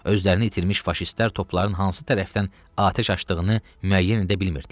Özlərini itirmiş faşistlər topların hansı tərəfdən atəş açdığını müəyyən edə bilmirdilər.